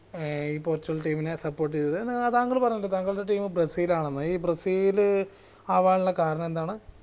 ഏർ ഈ Portugal team നെ support ചെയ്തത് ഏർ തങ്ങൾ പറഞ്ഞാലോ തങ്ങളുടെ team ബ്രസീൽ ആണെന്ന് ഈ ബ്രസീല് അവനുള്ള കാരണം എന്താണ്